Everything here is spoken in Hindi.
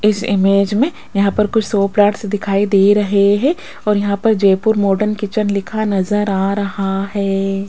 इस इमेज में यहाँ पर कुछ शो प्लांट्स दिखाई दे रहे हैं और यहाँ पर जयपुर मॉडर्न किचन लिखा नजर आ रहा है।